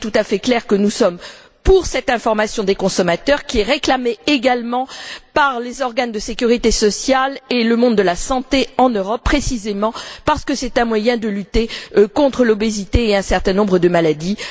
Il est tout à fait clair que nous sommes pour cette information des consommateurs, qui est réclamée également par les organes de sécurité sociale et le monde de la santé en Europe, précisément parce que c'est un moyen de lutter contre l'obésité et un certain nombre de maladies.